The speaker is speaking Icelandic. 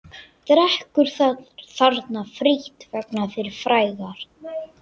Drekkur þarna frítt vegna fyrri frægðar.